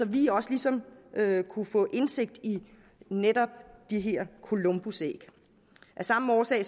vi også ligesom kunne få indsigt i netop det her columbusæg af samme årsag